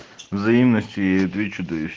взаимностью я ей отвечу да и вс